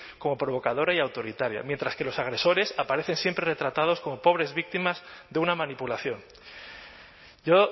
como provocadora y autoritaria mientras que los agresores aparecen siempre retratados como pobres víctimas de una manipulación yo